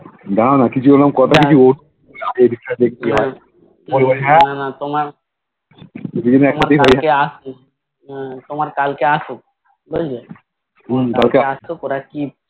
না না কিছু এরকম কথা বার্তা কিছু বলবো